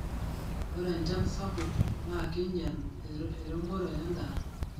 ore enchan sapuk naa keinyal eremore endaa